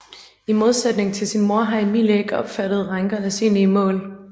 I modsætning til sin mor har Emilie ikke opfattet rænkernes egentlige mål